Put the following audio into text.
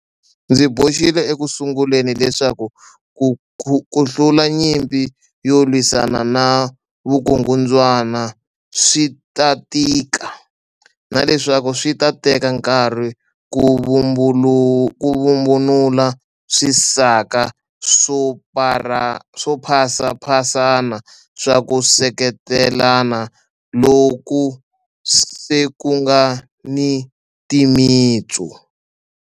Ndzi boxile ekusunguleni leswaku ku hlula nyimpi yo lwisana na vukungundzwa na swi ta tika, na leswaku swi ta teka nkarhi ku vhumbunula swisaka swo phasaphasana swa ku seketelana loku se ku nga ni timitsu.